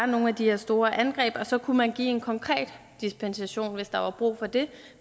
nogle af de her store angreb og så kunne man give en konkret dispensation hvis der bliver brug for det